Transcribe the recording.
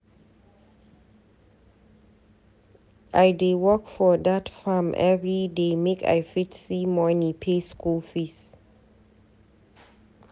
I dey work for dat farm everyday make I fit see money pay skool fees